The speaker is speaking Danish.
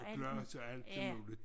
Gloss og alt muligt